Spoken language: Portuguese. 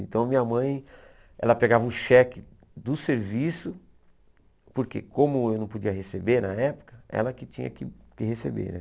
Então minha mãe, ela pegava um cheque do serviço, porque como eu não podia receber na época, ela que tinha que que receber.